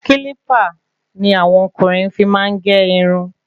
Kílípà ni àwọn ọkùnrin fí máa n ge irun